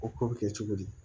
O ko bɛ kɛ cogo di